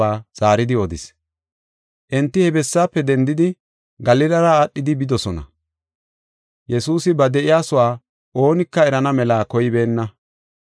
Enti he bessaafe dendidi, Galilara aadhidi bidosona; Yesuusi ba de7iyasuwa oonika erana mela koybeenna.